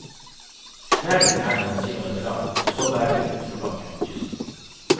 Tunnelen er noen kilometer lang, og så bærer det utforbakke mot kysten.